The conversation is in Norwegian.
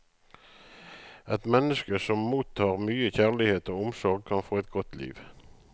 Et menneske som mottar mye kjærlighet og omsorg, kan få et godt liv.